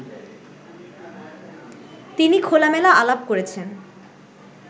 তিনি খোলামেলা আলাপ করেছেন